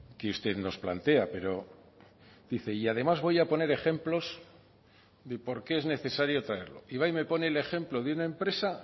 que usted nos plantea pero dice y además voy a poner ejemplos de por qué es necesario traerlo y va y me pone el ejemplo de una empresa